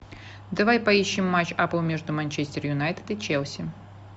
давай поищем матч апл между манчестер юнайтед и челси